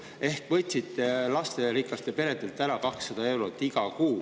Te võtsite lasterikastelt peredelt ära 200 eurot iga kuu.